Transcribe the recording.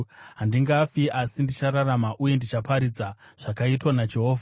Handingafi asi ndichararama, uye ndichaparidza zvakaitwa naJehovha.